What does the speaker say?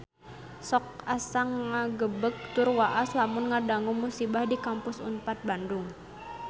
Sok asa ngagebeg tur waas lamun ngadangu musibah di Kampus Unpad Bandung